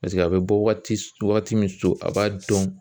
Paseke a bɛ bɔ waati waati min so a b'a dɔn